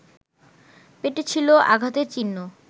পেটে ছিল আঘাতের চিহ্ন